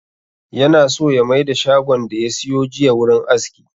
Yana so ya maida shagon da ya siyo jiya wurin aski